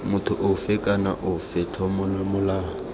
motho ofe kana ofe tlolomolato